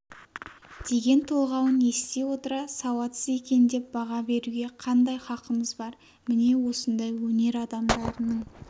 деген толғауын ести отыра сауатсыз екен деп баға беруге қандай хақымыз бар міне осындай өнер адамдарының